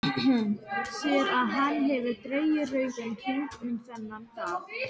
Sér að hann hefur dregið rauðan hring um þennan dag.